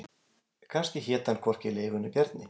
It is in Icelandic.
Kannski hét hann hvorki Leifur né Bjarni.